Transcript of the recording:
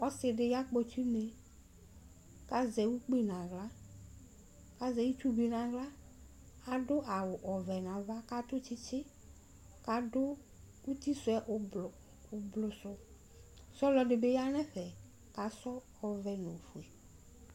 Ɔsidi ya kpɔtsi une kʋ azɛ ʋkpi nʋ aɣla azɛ ɩtsʋ bi nʋ aɣla adʋ awʋ ɔvɛ nʋ ava kʋ adʋ itisʋɛ ʋblɔ sʋ kʋ ɔlʋ ɛdi bi yanʋ ɛfɛ kʋ adʋ ɔvɛ nʋ ofʋe